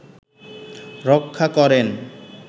রক্ষা করেন